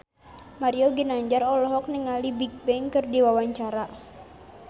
Mario Ginanjar olohok ningali Bigbang keur diwawancara